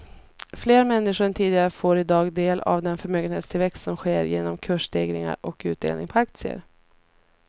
Fler människor än tidigare får i dag del av den förmögenhetstillväxt som sker genom kursstegringar och utdelningar på aktier.